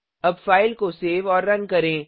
अब फाइल को सेव और रन करें